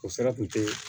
O sira tun tɛ